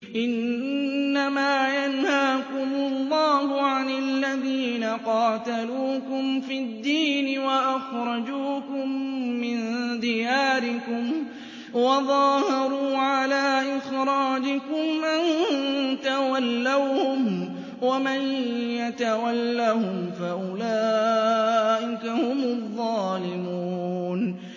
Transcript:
إِنَّمَا يَنْهَاكُمُ اللَّهُ عَنِ الَّذِينَ قَاتَلُوكُمْ فِي الدِّينِ وَأَخْرَجُوكُم مِّن دِيَارِكُمْ وَظَاهَرُوا عَلَىٰ إِخْرَاجِكُمْ أَن تَوَلَّوْهُمْ ۚ وَمَن يَتَوَلَّهُمْ فَأُولَٰئِكَ هُمُ الظَّالِمُونَ